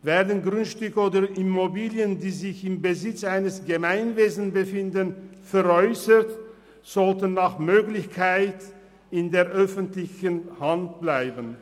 Werden Grundstücke oder Immobilien, die sich im Besitz eines Gemeinwesens befinden, veräussert, sollten sie nach Möglichkeit im Besitz der öffentlichen Hand bleiben.